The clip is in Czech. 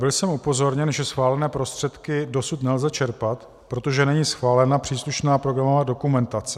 Byl jsem upozorněn, že schválené prostředky dosud nelze čerpat, protože není schválena příslušná programová dokumentace.